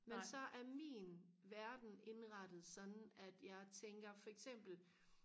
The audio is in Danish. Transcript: men så er min verden indrettet sådan at jeg tænker for eksempel